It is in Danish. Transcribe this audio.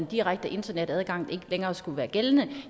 direkte internetadgang ikke længere skulle være gældende